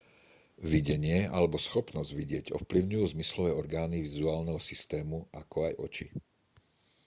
videnie alebo schopnosť vidieť ovplyvňujú zmyslové orgány vizuálneho systému ako aj oči